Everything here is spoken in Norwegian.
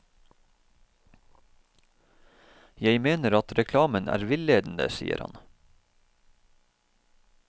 Jeg mener at reklamen er villedende, sier han.